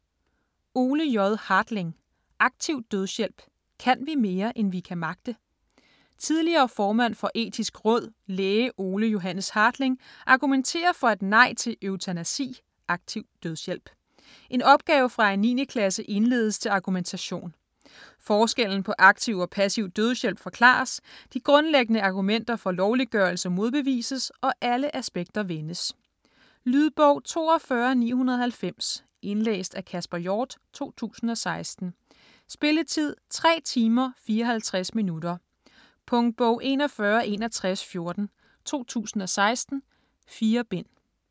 Hartling, Ole J.: Aktiv dødshjælp: kan vi mere, end vi kan magte? Tidligere formand for Etisk Råd, læge Ole Johannes Hartling, argumenterer for et nej til eutanasi (aktiv dødshjælp). En opgave fra en 9. klasse indledes til argumentation. Forskellen på aktiv og passiv dødshjælp forklares, de grundlæggende argumenter for lovliggørelse modbevises, og alle aspekter vendes. Lydbog 42990 Indlæst af Kasper Hjort, 2016. Spilletid: 3 timer, 54 minutter. Punktbog 416114 2016. 4 bind.